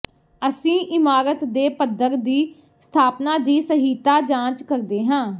ਅਸੀਂ ਇਮਾਰਤ ਦੇ ਪੱਧਰ ਦੀ ਸਥਾਪਨਾ ਦੀ ਸਹੀਤਾ ਜਾਂਚ ਕਰਦੇ ਹਾਂ